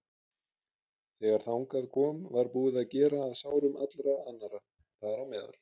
Þegar þangað kom var búið að gera að sárum allra annarra, þar á meðal